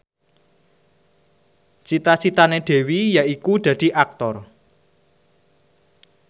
cita citane Dewi yaiku dadi Aktor